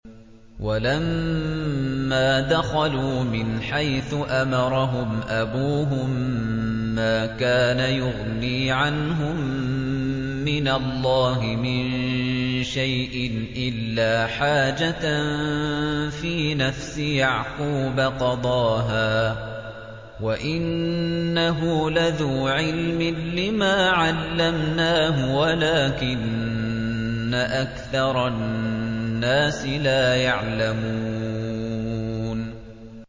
وَلَمَّا دَخَلُوا مِنْ حَيْثُ أَمَرَهُمْ أَبُوهُم مَّا كَانَ يُغْنِي عَنْهُم مِّنَ اللَّهِ مِن شَيْءٍ إِلَّا حَاجَةً فِي نَفْسِ يَعْقُوبَ قَضَاهَا ۚ وَإِنَّهُ لَذُو عِلْمٍ لِّمَا عَلَّمْنَاهُ وَلَٰكِنَّ أَكْثَرَ النَّاسِ لَا يَعْلَمُونَ